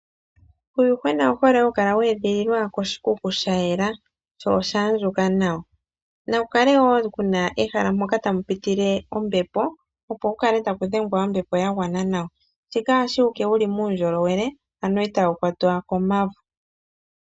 Uuyuhwena owu hole hawu kala wa edhiliwa koshikuku sha yela sho osha andjuka nawa. Na ku kale wo kuna ehala moka tamu pitile ombepo, opo ku kale taku dhengwa ombepo ya gwana nawa, shika ohashi eta wu kale wu li muundjolowele ano itaa wu kwatwa ko mauvu.